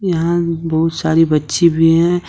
यहाँ बहुत सारी बच्ची भी हैं।